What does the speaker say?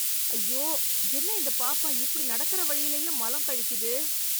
ஐயோ என்ன இந்த பாப்பா இப்படி நடக்கற வழியிலயே மலம் கழிக்குது.